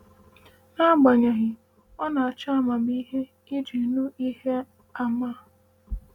“Agbanyeghị, ọ na-achọ amamihe iji nụ ihe àmà a.”